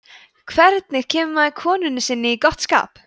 hvernig kemur maður konunni sinni í gott skap